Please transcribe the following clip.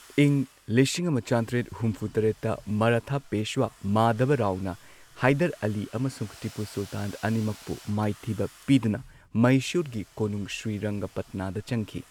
ꯏꯪ ꯂꯤꯁꯤꯡ ꯑꯃ ꯆꯥꯇ꯭ꯔꯦꯠ ꯍꯨꯝꯐꯨ ꯇꯔꯦꯠꯇ ꯃꯔꯥꯊꯥ ꯄꯦꯁ꯭ꯋꯥ ꯃꯥꯙꯕꯔꯥꯎꯅ ꯍꯥꯏꯗꯔ ꯑꯂꯤ ꯑꯃꯁꯨꯡ ꯇꯤꯄꯨ ꯁꯨꯜꯇꯥꯟ ꯑꯅꯤꯃꯛꯄꯨ ꯃꯥꯏꯊꯤꯕ ꯄꯤꯗꯨꯅ ꯃꯩꯁꯨꯔꯒꯤ ꯀꯣꯅꯨꯡ ꯁ꯭ꯔꯤꯔꯪꯒꯄꯠꯅꯥꯗ ꯆꯪꯈꯤ꯫